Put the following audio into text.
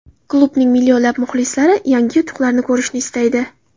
Klubning millionlab muxlislari yangi yutuqlarni ko‘rishni istaydi.